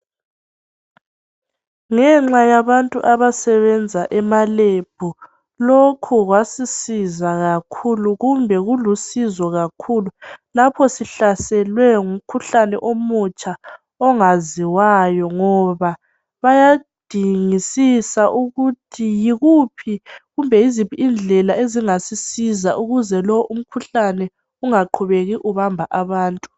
Ngenxa yabantu abasebenza emalebhu. Lokhu kwasisiza kakhulu. Kumbe kulusizo kakhulu lapho zihlaselwe ngumkhuhlane omutsha ongaziwayo ngoba bayadingisisa ukuthi yikuphi kumbe yiziphi indlela ezingasisiza ukuze lo umkhuhlane ungaqubeki ubamba abantu.